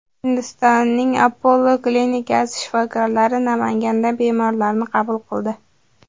Hindistonning Apollo klinikasi shifokorlari Namanganda bemorlarni qabul qildi.